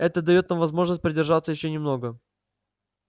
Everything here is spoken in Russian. это даёт нам возможность продержаться ещё немного